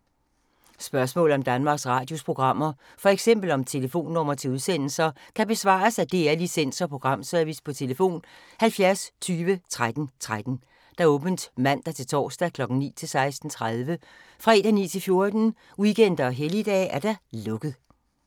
Spørgsmål om Danmarks Radios programmer, f.eks. om telefonnumre til udsendelser, kan besvares af DR Licens- og Programservice: tlf. 70 20 13 13, åbent mandag-torsdag 9.00-16.30, fredag 9.00-14.00, weekender og helligdage: lukket.